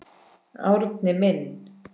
Árni minn.